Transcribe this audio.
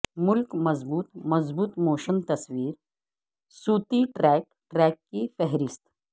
ملک مضبوط مضبوط موشن تصویر صوتی ٹریک ٹریک کی فہرست